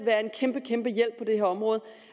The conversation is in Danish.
være en kæmpe kæmpe hjælp på det her område